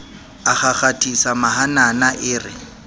a kgakgathisa mahanana e re